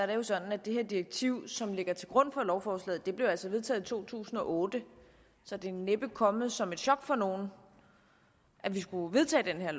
det sådan at det direktiv som ligger til grund for lovforslaget altså blev vedtaget i to tusind og otte så det er næppe kommet som et chok for nogen at vi skulle vedtage det her